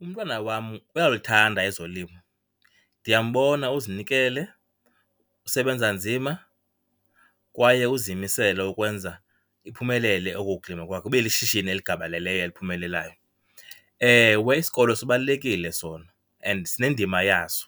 Umntwana wam uyalithanda ezolimo, ndiyambona uzinikele usebenza nzima kwaye uzimisele ukwenza iphumelele oku kulima kwakhe, ibe lishishini eligabaleleyo eliphumelelayo. Ewe, isikolo sibalulekile sona and sinendima yaso